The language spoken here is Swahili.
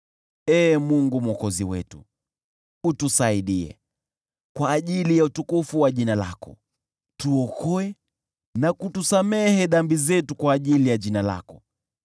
Ee Mungu Mwokozi wetu, utusaidie, kwa ajili ya utukufu wa jina lako; tuokoe na kutusamehe dhambi zetu kwa ajili ya jina lako.